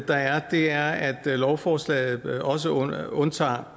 der er er at lovforslaget også undtager undtager